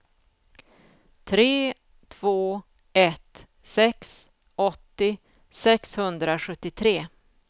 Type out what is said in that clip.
tre två ett sex åttio sexhundrasjuttiotre